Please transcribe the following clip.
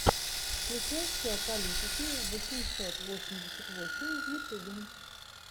включай все о политике восемьсот восемьдесят восемь в ютьюбе